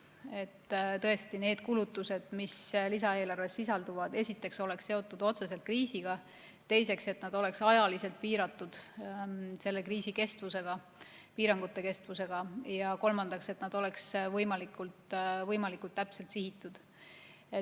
et need kulutused, mis lisaeelarves sisalduvad, esiteks oleks seotud otseselt kriisiga, teiseks, et need oleks ajaliselt piiratud selle kriisi kestvusega, piirangute kestvusega, ja kolmandaks, et need oleks võimalikult täpselt sihitud.